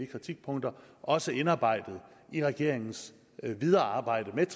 kritikpunkter også indarbejdet i regeringens videre arbejde med